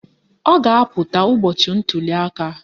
Ọ ga-apụta ụbọchị ntuliaka